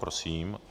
Prosím.